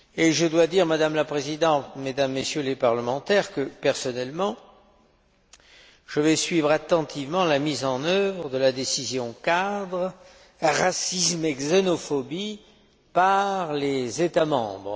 Je dois dire, Madame la Présidente, Mesdames et Messieurs les députés que, personnellement, je vais suivre attentivement la mise en œuvre de la décision cadre Racisme et xénophobie par les États membres.